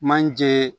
Manje